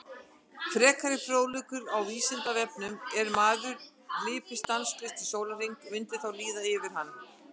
Frekari fróðleikur á Vísindavefnum: Ef maður hlypi stanslaust í sólarhring myndi þá líða yfir hann?